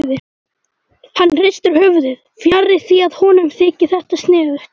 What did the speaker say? Hann hristir höfuðið, fjarri því að honum þyki þetta sniðugt.